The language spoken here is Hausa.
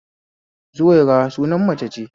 Zuwaira suna mace ce